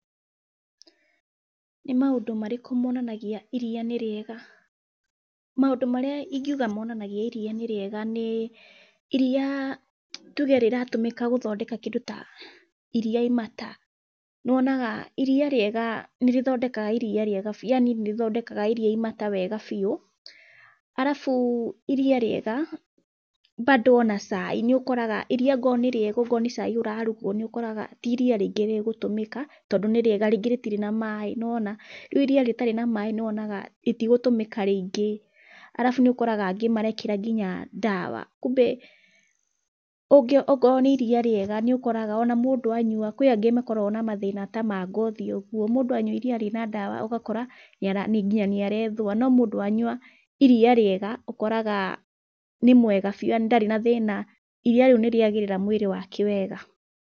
Nĩ maũndũ marĩkũ monanagia iriia nĩ rĩega? Maũndũ marĩa ingiuga monanagia iria nĩ rĩega ni iria tuge rĩratumĩka gũthondeka kĩndũ ta iria imata nĩwonaga iria rĩega nĩrĩthondekaga iria riega biu, yaani nĩrĩthondekaga iria imata wega biu, arabu iria rĩega, bado ona cai nĩũkoraga iria ongorwo nĩ rĩega ongorwo nĩ cai ũrarugwo nĩ ũkoraga ti iria rĩingĩ rĩgũtũmĩka tondũ nĩrĩega rĩngĩ rĩtĩrĩ na maĩ, nĩwona rĩu iria rĩtarĩ na maĩ nĩwonaga rĩtigũtũmĩka rĩingĩ arabu nĩokoraga angĩ marĩkĩra ngina ndawa kumbe ũngĩ ongorwo nĩ iria rĩega, nĩũkoraga ona mũndũ anyua kwi angĩ makoragwo na mathĩna ta ma ngothi ũgũo mũndũ anyua iria rĩna ndawa ũgakora ngina nĩ arethũa no mũndũ wanyũa iria rĩega, ũkoraga níĩmwega bĩu yaani ndarĩ na thĩna, iria rĩu nĩrĩagĩrĩra mwĩrĩ wake wega.